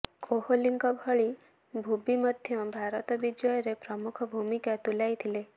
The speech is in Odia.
କୋହଲିଙ୍କ ଭଳି ଭୁବି ମଧ୍ୟ ଭାରତ ବିଜୟରେ ପ୍ରମୁଖ ଭୂମିକା ତୁଲାଇଥିଲେ